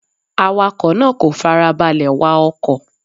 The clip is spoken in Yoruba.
Awakọ̀ náà kò farabalẹ̀ wa ọkọ̀.